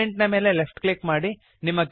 parent ನ ಮೇಲೆ left click ಮಾಡಿರಿ